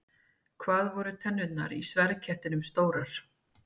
Hvað voru tennurnar í sverðkettinum stórar?